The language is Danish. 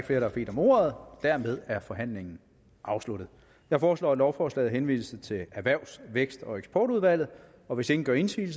der har bedt om ordet dermed er forhandlingen afsluttet jeg foreslår at lovforslaget henvises til erhvervs vækst og eksportudvalget og hvis ingen gør indsigelse